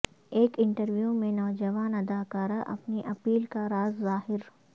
ایک انٹرویو میں نوجوان اداکارہ اپنی اپیل کا راز ظاہر